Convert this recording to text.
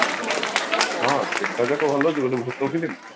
ହଁ ସେଟା ବି ତ ଭଲ film